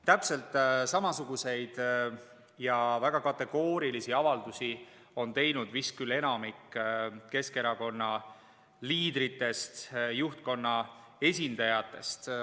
Täpselt samasuguseid ja väga kategoorilisi avaldusi on teinud vist küll enamik Keskerakonna liidritest, juhtkonna esindajatest.